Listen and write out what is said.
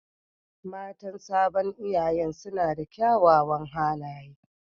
Matan sabon iyanyan suna da kyawawan halaye